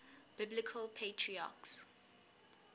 biblical patriarchs